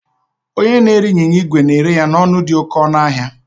Onye na-ere ịnyịnya igwe na-ere ya n'ọnụ dị oke ọnụ ahịa